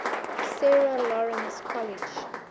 sarah lawrence college